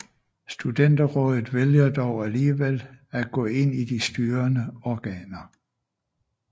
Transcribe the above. Studenterrådet vælger dog alligevel at gå ind i De Styrende Organer